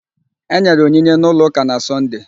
Enyere onyinye n'ụlọ ụka na Sọnde